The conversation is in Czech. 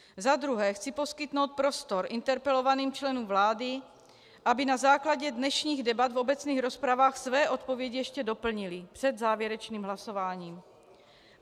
Za druhé chci poskytnout prostor interpelovaným členům vlády, aby na základě dnešních debat v obecných rozpravách své odpovědi ještě doplnili před závěrečným hlasováním.